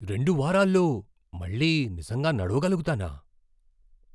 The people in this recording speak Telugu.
రెండు వారాల్లో మళ్ళీ నిజంగా నడవగలుగుతానా?